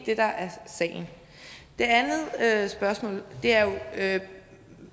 det der er sagen det andet spørgsmål er jo at